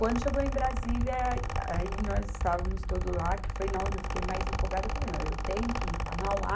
Quando chegou em Brasília, aí nós estávamos todos lá, que foi na onde eu fiquei mais empolgada, eu falei não, eu tenho que ir para Mauá,